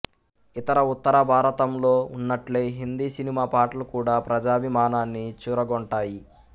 ఇతర ఉత్తరభారతంలో ఉన్నట్లే హిందీ సినిమా పాటలు కూడా ప్రజాభిమానాన్ని చూరగొంటాయి